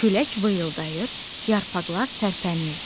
Külək vıyıldayır, yarpaqlar tərpənirdi.